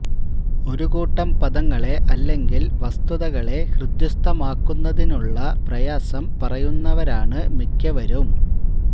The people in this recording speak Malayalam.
ഒരു കൂട്ടം പദങ്ങളെ അല്ലെങ്കില് വസ്തുതകളെ ഹൃദിസ്ഥമാക്കുന്നതിലുള്ള പ്രയാസം പറയുന്നവരാണ് മിക്കവരും